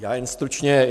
Jen stručně.